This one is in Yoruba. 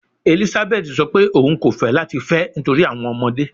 Elizabeth sọ pe oun ko fẹ lati fẹ nitori awọn ọmọde